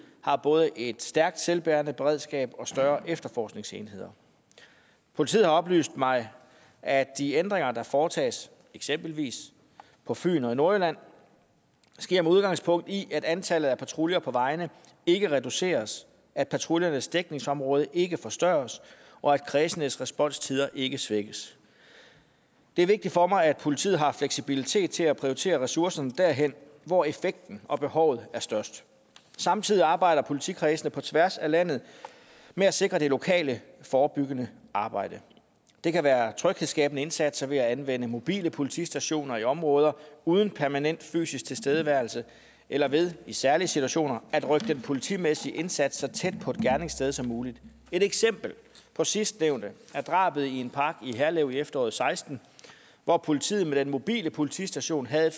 har både et stærkt selvbærende beredskab og større efterforskningsmuligheder politiet har oplyst mig at de ændringer der foretages eksempelvis på fyn og i nordjylland sker med udgangspunkt i at antallet af patruljer på vejene ikke reduceres at patruljernes dækningsområde ikke forstørres og at kredsenes responstider ikke svækkes det er vigtigt for mig at politiet har fleksibilitet til at prioritere ressourcerne derhen hvor effekten og behovet er størst samtidig arbejder politikredsene på tværs af landet med at sikre det lokale forebyggende arbejde det kan være tryghedsskabende indsatser ved at anvende mobile politistationer i områder uden permanent fysisk tilstedeværelse eller ved i særlige situationer at rykke den politimæssige indsats så tæt på et gerningssted som muligt et eksempel på sidstnævnte er drabet i en park i herlev i efteråret og seksten hvor politiet med den mobile politistation havde